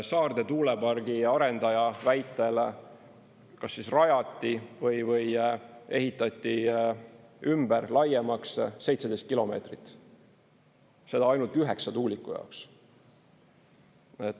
Saarde tuulepargi arendaja väitel kas siis rajati või ehitati ümber, laiemaks 17 kilomeetrit, seda ainult üheksa tuuliku jaoks.